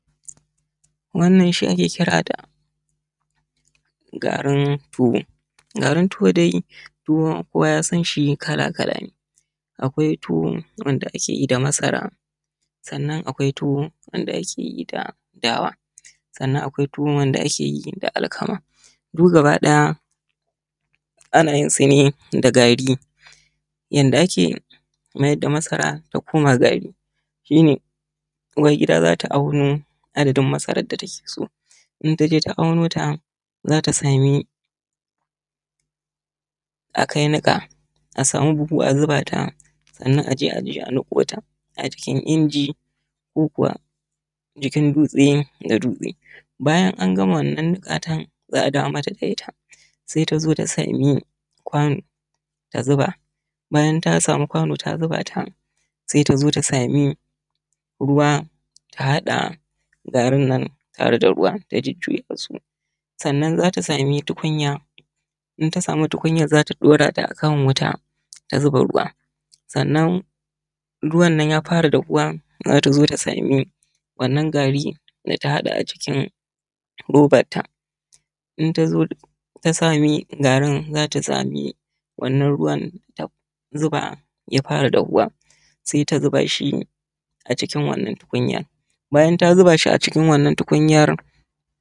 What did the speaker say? Wannan shi ake kita da garin tuwo. Garin tuwo dai kowa ya san shi kala-kala ne, akwai tuwan da ake yi da masara, sannan akwai tuwo wanda ake yi da dawa, sanan akwai tuwo wanda akeyi da alkama duk gaba ɗaya ana yin su ne da gari. Yanda ake mayar da masara ta koma gari shi ne uwar gida za ta auno adadin masaran da take so in ta je ta aunota za ta sami akai niƙa a samu buhu a zuba ta, sannan aje a niƙo ta a cikin inji ko kuwa cikin dutse da dutse. Bayan an gama wannan gatan za’a dawo mata da ita se tazo ta sami kwano da zuba bayan ta samu kwano ta zubata se ta zo ta sami ruwa ta haɗa garin nan tare da ruwa ta jujjuya su sanna zata sami tukunya in tasamu tukunya zata ɗaurata a kan wuta ta zuba ruwa sannan ruwan nan ya fara dafuwa zata zo ta samu wannan gari da ta haɗa a cikin robar ta in tazo ta sami garin zata smai wannan ruwan ta zufa ya fara dahuwa se ta zubashi a cikin wannan tukunya bayan ta zubashi a cikin wannan tukunyar.